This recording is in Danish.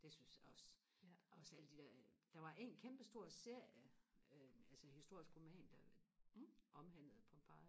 det synes jeg også også alle de der der var en kæmpe stor serie øh altså historisk roman der omhandlede Pompeji